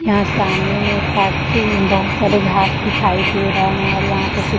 यहां सामने में पार्च बोहत सारी घास दिखाई दे रहा और यहां पे कुछ --